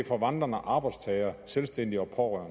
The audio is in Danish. for vandrende arbejdstagere selvstændige og